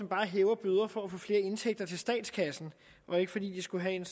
bare hæver bøder for at få flere indtægter til statskassen og ikke fordi det skulle have en